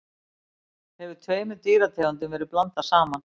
hefur tveimur dýrategundum verið blandað saman